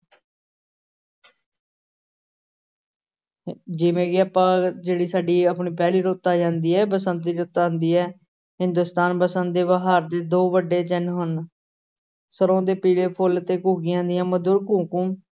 ਜਿਵੇਂ ਕਿ ਆਪਾਂ ਜਿਹੜੀ ਸਾਡੀ ਆਪਣੀ ਪਹਿਲੀ ਰੁੱਤ ਆ ਜਾਂਦੀ ਹੈ ਬਸੰਤ ਦੀ ਰੁੱਤ ਆਉਂਦੀ ਹੈ, ਹਿੰਦੁਸਤਾਨ ਬਸੰਤ ਦੇ ਬਹਾਰ ਦੇ ਦੋ ਵੱਡੇ ਚਿੰਨ੍ਹ ਹਨ, ਸਰ੍ਹੋਂ ਦੇ ਪੀਲੇ ਫੁੱਲ ਤੇ ਘੁੱਗੀਆਂ ਦੀਆਂ ਮਧੁਰ ਘੂੰ-ਘੂੰ।